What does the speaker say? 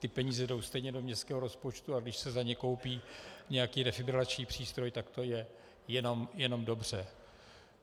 Ty peníze jdou stejně do městského rozpočtu, a když se za ně koupí nějaký defibrilační přístroj, tak to je jenom dobře.